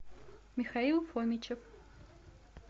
михаил фомичев